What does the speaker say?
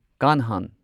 ꯀꯥꯟꯍꯥꯟ